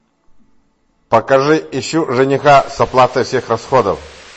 покажи ищу жениха с оплатой всех расходов